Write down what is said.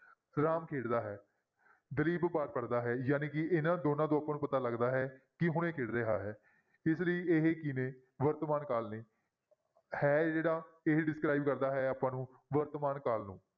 ਰਾਮ ਖੇਡਦਾ ਹੈ ਦਲੀਪ ਪਾਠ ਪੜ੍ਹਦਾ ਹੈ ਜਾਣੀ ਕਿ ਇਹਨਾਂ ਦੋਨਾਂਂ ਤੋਂ ਆਪਾਂ ਨੂੰ ਪਤਾ ਲੱਗਦਾ ਹੈ ਕਿ ਹੁਣੇ ਖੇਡ ਰਿਹਾ ਹੈ ਇਸ ਲਈ ਇਹ ਕੀ ਨੇ ਵਰਤਮਾਨ ਕਾਲ ਨੇ, ਹੈ ਜਿਹੜਾ ਇਹ describe ਕਰਦਾ ਹੈ ਆਪਾਂ ਨੂੰ ਵਰਤਮਾਨ ਕਾਲ ਨੂੰ।